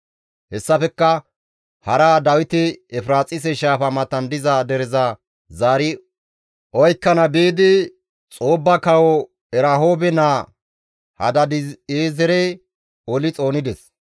Hessafekka hara Dawiti Efiraaxise shaafa matan diza dereza zaari oykkana biidi, Xoobba kawo Erahoobe naa Hadaadi7eezere oli xoonides.